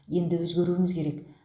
енді өзгеруіміз керек